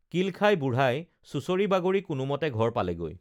কিল খাই বুঢ়াই চুচৰি বাগৰি কোনোমতে ঘৰ পালেগৈ